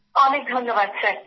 অনেক ধন্যবাদ স্যার